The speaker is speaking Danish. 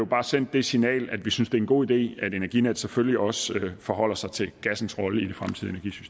bare sende det signal at vi synes det er en god idé at energinet selvfølgelig også forholder sig til gassens rolle i